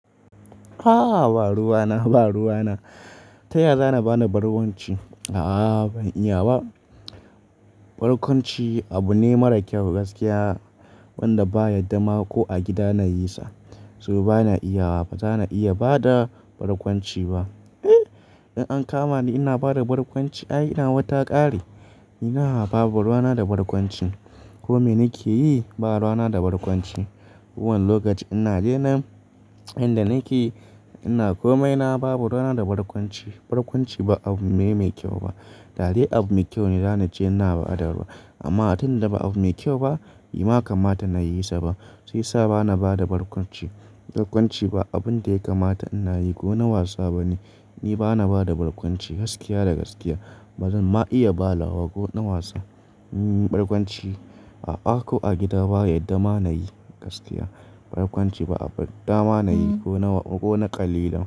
A'a ba ruwa na, ba ruwa na. Ta yaya za na ba na barkwanci? A'a ban iya ba. Barkwanci abu ne mara kyau gaskiya, wanda ba a yadda ma ko a gida na yi sa. So ba na iya ba, ba za na iya ba da barkwanci ba. In an kama ni ina bada barkwanci ai ina wata ƙari. Ina babu ruwa na da barkwanci. Komai nake yi ba ruwa na da barkwanci. Kowane lokaci ina daina, inda nake ina komai na ba bu ruwa na da barkwanci. Barkwanci ba abu me mai kyau ba. Dadai abu mai kyau ne, za ni ce ina ba da ruwa. Amma tunda da ba abu mai kyau ba, bai kamata na yi sa ba. Sai sa ba na bada barkwanci, barkwanci ba abun da ya kamata ina yi ko na wasa ba ne. Ni ba na bada barkwanci gaskiya da gaskiya. Bazan ma iya ba lawa ko na wasa. Hmm barkwanci a a ko, a gida ba a yadda ma na yi gaskiya. Barkwanci ba abin da ma na yi ko na, ko na ƙalila.